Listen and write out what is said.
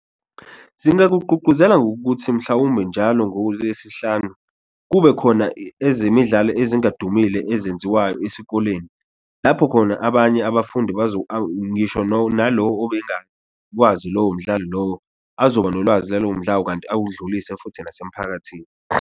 Zingakugqugquzela ngokuthi mhlawumpe njalo ngoLesihlanu kube khona ezemidlalo ezingadumile ezenziwayo esikoleni lapho khona abanye abafundi ngisho nalo obengakwazi lowo mdlalo lowo, azoba nolwazi nalowo kanti awudlulise futhi nasemphakathini.